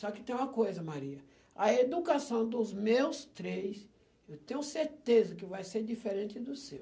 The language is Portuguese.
Só que tem uma coisa, Maria, a educação dos meus três, eu tenho certeza que vai ser diferente do seu.